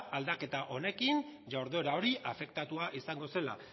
aldaketa honekin ordura hori afektatua izango zela